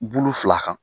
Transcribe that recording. Bulu fila kan